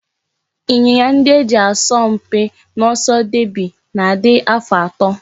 Ịnyịnya ndị e ji asọ mpi n'oso deby na-adị afọ atọ